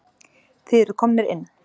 Þið eruð komnir inn.